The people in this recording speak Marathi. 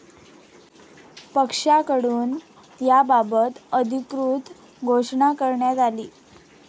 पक्षाकडून याबाबत अधिकृत घोषणा करण्यात आली.